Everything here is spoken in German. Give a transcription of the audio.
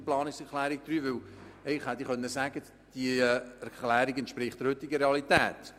Denn eigentlich könnte man sagen, diese entspreche der heutigen Realität.